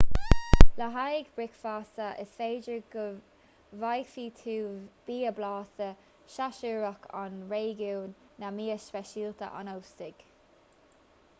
le haghaidh bricfeasta is féidir go bhfaighidh tú bia blasta séasúrach an réigiúin nó mias speisialta an óstaigh